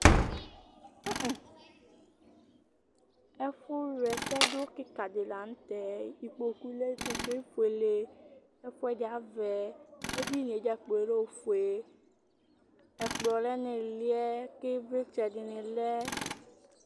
ɛfu wla ɛsɛ do keka di lantɛ ikpoku lɛ ikpokue efuele ɛfuɛdi avɛ edinie dzakplo lɛ ofue ɛkplɔ lɛ no iliɛ k'ivlitsɛ dini lɛ